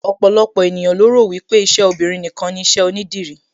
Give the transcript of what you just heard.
Ọ̀pọ̀lọpọ̀ ènìyàn lo rò wípé iṣẹ́ obinrin nìkan ni iṣẹ́ onídìrí